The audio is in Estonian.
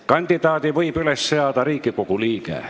Kandidaadi võib üles seada Riigikogu liige.